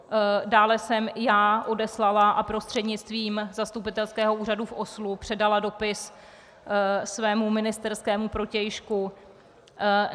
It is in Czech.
Dále jsem já odeslala a prostřednictvím zastupitelského úřadu v Oslu předala dopis svému ministerskému protějšku.